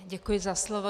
Děkuji za slovo.